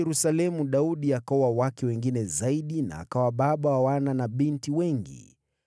Huko Yerusalemu Daudi akaoa wake wengine zaidi na akawa baba wa wana na mabinti wengi.